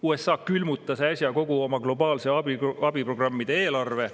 USA külmutas äsja kogu oma globaalse abi programmide eelarve.